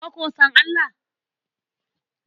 Ka ko san Allah?